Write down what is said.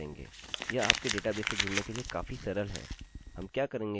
यह आपके डेटाबेस से जुड़ने के लिए काफी सरल है